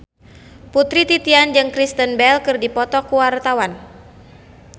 Putri Titian jeung Kristen Bell keur dipoto ku wartawan